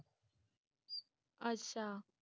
ਅੱਛਾ